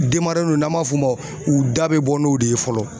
Denmaraw n'an b'a f'o ma u da be bɔ n'o de ye fɔlɔ.